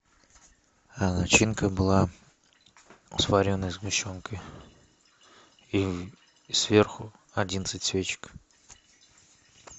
а начинка была с вареной сгущенкой и сверху одиннадцать свечек